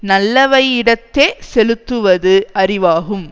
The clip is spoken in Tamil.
நல்லவையிடத்தே செலுத்துவது அறிவாகும்